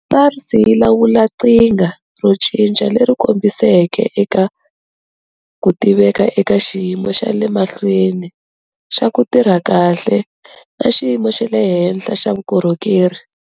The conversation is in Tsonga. SARS yi lawula qhinga ro cinca leri kongomiseke eka ku tiveka eka xiyimo xa le mahlweni xa ku tirha kahle na xiyimo xa le henhla xa vukorhokeri.